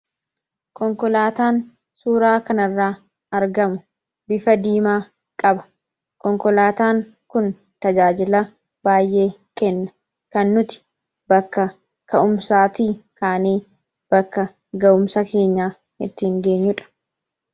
Konkolaataan suuraa kanarraa argamu bifa diimaa qaba. Konkolaataan kun tajaajila baay'ee kenna. Kan nuti bakka ka'umsaatii kaanee bakka ga'umsa keenyaa ittiin geenyudha.